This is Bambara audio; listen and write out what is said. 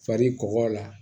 Fari kɔgɔ la